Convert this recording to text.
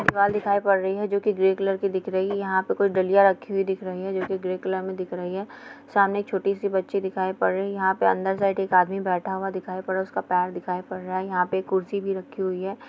दीवार दिखाई पड़ रही है जो की ग्रे कलर की दिख रही है | यहाँ पर कुछ दलिया रखे हुए दिख रही है जो की ग्रे कलर में दिख रही है सामने एक छोटी सी बच्ची दिखाई पड़ रही है | यहाँ पे अंदर साइड एक आदमी बैठा हुआ दिखाई पड़ रहा है उसका पैर दिखाई पड़ रहा है | यहाँ पर कुर्सी भी रखी हुई है।